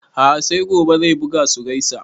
A'a sai gobe zai buga su gaisa